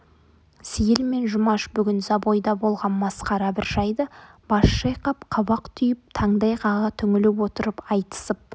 сейіл мен жұмаш бүгін забойда болған масқара бір жайды бас шайқап қабақ түйіп таңдай қаға түңіліп отырып айтысып